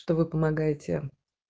что вы помогаете